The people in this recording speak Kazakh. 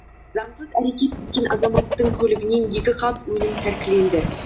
заңсыз әрекет еткен азаматтың көлігінен екі қап өнім тәркіленді